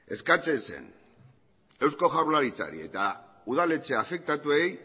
eskatzen zen eusko jaurlaritzari eta udaletxe afektatuei